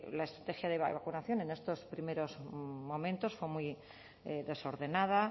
la estrategia de vacunación en estos primeros momentos fue muy desordenada